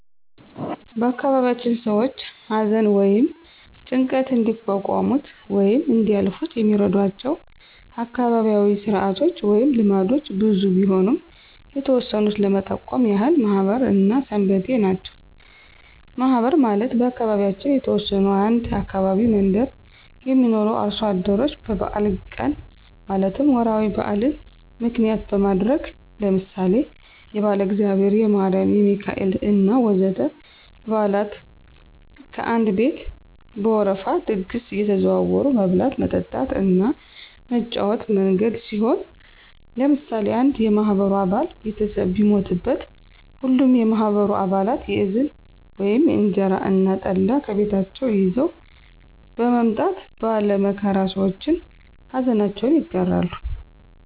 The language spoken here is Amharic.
በአካባቢያችን ሰዎች አዘን ወይም ጭንቀት እንዲቋቋሙት ወይም እንዲያልፋት የሚረዷቸው አካባቢያዉ ስርአቶች ወይም ልምዶች ብዙ ቢሆኑም የተወሰኑት ለመጠቆም ያህል ማህበር እና ሰንበቴ ናቸው። ማህበር ማለት በአካባቢያችን የተወሰኑ አንድ አካባቢ መንደር የሚኖሩ አርሶ አደሮች በበአል ቀን ማለትም ወራዊ በአልን ምክንያት በማድረግ ለምሳሌ የባለእግዚአብሔር፣ የማሪም፣ የሚካኤሌ እና ወዘተ በአላት ከአንድ ቤት በወረፋ ድግስ አየተዘዋወሩ መብላት፣ መጠጣት እና መጫወቻ መንገድ ሲሆን ለምሳሌ አንድ የማህበሩ አባል ቤተሰብ ቢሞትበት ሀሉም የማህበሩ አባለት የዝን (እንጀራ እና ጠላ) ከቤታቸው ይዘዉ በመምጣት ባለ መከራ ሰዎችን አዘናቸውን ይጋራሉ።